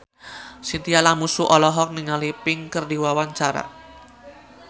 Chintya Lamusu olohok ningali Pink keur diwawancara